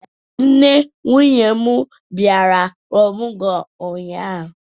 Nne nwunye m bịara ọmụgwọ ụnyaahụ.